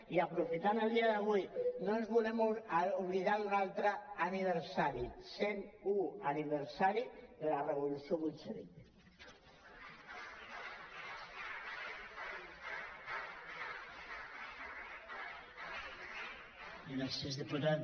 i aprofitant el dia d’avui no ens volem oblidar d’un altre aniversari cent u aniversari de la revolució bolxevic